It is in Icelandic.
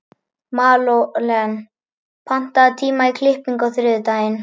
Malen, pantaðu tíma í klippingu á þriðjudaginn.